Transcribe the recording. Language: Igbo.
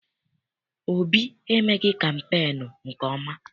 Obi emeghị kampeenu nke ọma.